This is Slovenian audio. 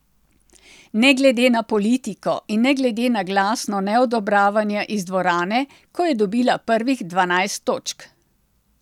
Ne glede na politiko in ne glede na glasno neodobravanje iz dvorane, ko je dobila prvih dvanajst točk.